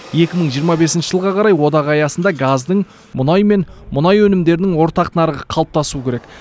екі мың жиырма бесінші жылға қарай одақ аясында газдың мұнай мен мұнай өнімдерінің ортақ нарығы қалыптасу керек